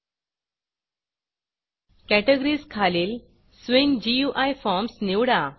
categories खालील swing GUIस्विंग GUI forms निवडा